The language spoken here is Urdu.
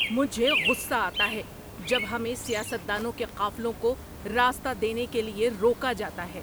مجھے غصہ آتا ہے جب ہمیں سیاست دانوں کے قافلوں کو راستہ دینے کے لیے روکا جاتا ہے۔